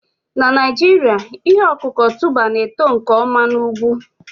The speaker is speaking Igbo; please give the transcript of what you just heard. Na Naijiria, ihe ọkụkụ tuber na-eto nke ọma na ugwu